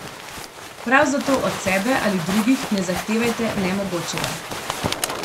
Prav zato od sebe ali drugih ne zahtevajte nemogočega.